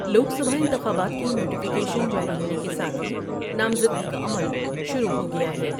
لوک سبھا انتخابات کی نوٹیفیکیشن جاری ہونے کے ساتھ ہی نامزدگی کا عمل شروع ہو گیا ہے۔